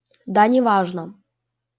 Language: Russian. да неважно